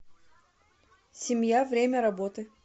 семья время работы